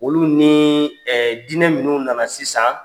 Olu nii diinɛ minnu nana sisan